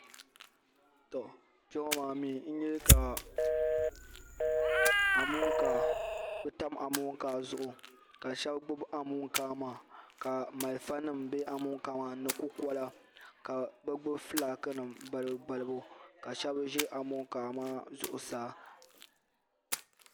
Tɔ Kpɛŋɔ maa mee n nya ka amonkaa tam amonkaa zuɣu ka sheba gbibi amonkaa maa ka marafa nima be amonkaa maa ni ni kukola ka bɛ gnibi filaaki nima balibu balibu ka sheba ʒi amonkaa maa zuɣusaa.